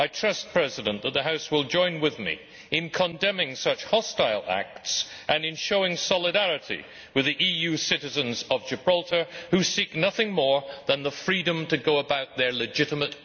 I trust that the House will join with me in condemning such hostile acts and in showing solidarity with the EU citizens of Gibraltar, who seek nothing more than the freedom to go about their legitimate business.